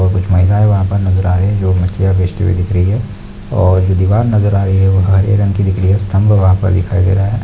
और कुछ महिलायें वहाँ पर नजर आ रही है जो मच्छियाँ बेचते हुए दिख रही है और जो दीवार नजर आ रही है वो हरे रंग की दिख रही है स्तम्भ वहाँ पर दिखाई दे रहे है।